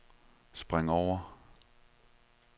spring over